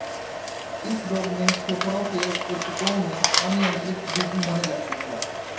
इस रोग में फेफड़ों के ऊतकों में अनियंत्रित वृद्धि होने लगती है